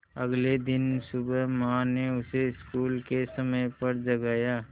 अगले दिन सुबह माँ ने उसे स्कूल के समय पर जगाया